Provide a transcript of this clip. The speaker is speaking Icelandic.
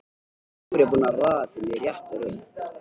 Nú er ég búinn að raða þeim í rétta röð.